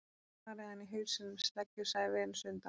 Ég gæti barið hana í hausinn með sleggju, sagði Venus undan